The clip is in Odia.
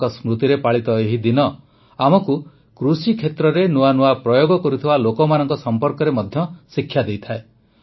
ତାଙ୍କ ସ୍ମୃତିରେ ପାଳିତ ଏହି ଦିନ ଆମକୁ କୃଷିକ୍ଷେତ୍ରରେ ନୂଆ ନୂଆ ପ୍ରୟୋଗ କରୁଥିବା ଲୋକମାନଙ୍କ ସମ୍ପର୍କରେ ମଧ୍ୟ ଶିକ୍ଷା ଦେଇଥାଏ